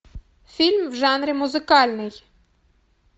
фильм в жанре музыкальный